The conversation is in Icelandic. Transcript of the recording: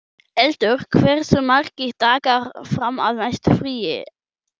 Eldur, hversu margir dagar fram að næsta fríi?